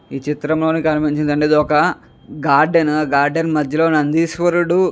ఈ చిత్రంలో కనిపించిందండి ఇది ఒక గార్డెన్ ఉహ్ గార్డెన్ మధ్యలో నందీశ్వరుడు--